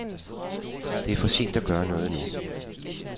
Det er for sent at gøre noget nu.